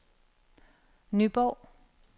Nyborg